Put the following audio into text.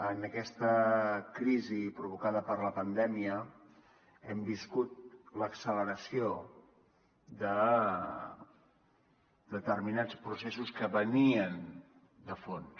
en aquesta crisi provocada per la pandèmia hem viscut l’acceleració de determinats processos que venien de fons